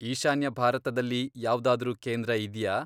ಈಶಾನ್ಯ ಭಾರತದಲ್ಲಿ ಯಾವ್ದಾದ್ರೂ ಕೇಂದ್ರ ಇದ್ಯಾ?